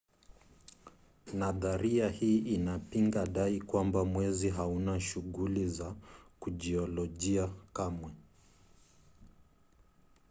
nadharia hii inapinga dai kwamba mwezi hauna shughuli za kijiolojia kamwe